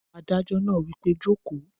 Adájọ́ náà wí pé jòkó!